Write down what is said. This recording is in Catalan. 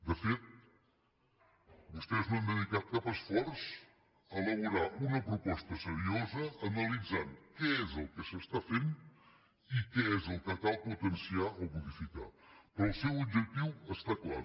de fet vostès no han dedicat cap esforç a elaborar una proposta seriosa que analitzi què és el que s’està fent i què és el que cal potenciar o modificar però el seu objectiu està clar